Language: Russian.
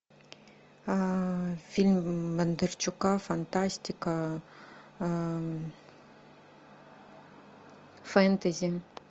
фильм бондарчука фантастика фэнтези